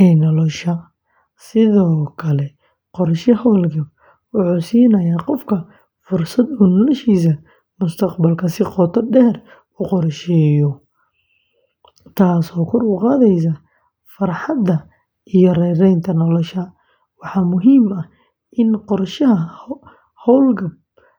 ee nolosha. Sidoo kale, qorshe hawlgab wuxuu siinayaa qofka fursad uu noloshiisa mustaqbalka si qoto dheer u qorsheeyo, taasoo kor u qaadaysa farxadda iyo raynraynta nolosha. Waxaa muhiim ah in qorshaha hawlgab laga bilaabo xilli hore.